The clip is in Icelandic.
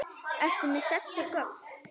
Ertu með þessi gögn?